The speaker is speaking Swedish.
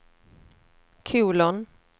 kolon